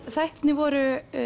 þættirnir voru